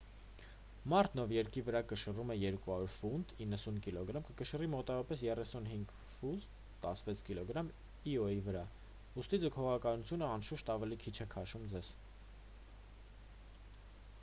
մարդն ով երկրի վրա կշռում է 200 ֆունտ 90 կգ կկշռի մոտավորապես 36 ֆունտ 16 կգ իոյի վրա։ ուստի՝ ձգողականությունը անշուշտ ավելի քիչ է քաշում ձեզ։